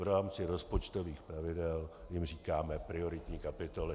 V rámci rozpočtových pravidel jim říkáme prioritní kapitoly.